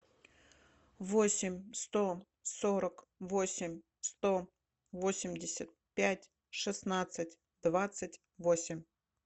восемь сто сорок восемь сто восемьдесят пять шестнадцать двадцать восемь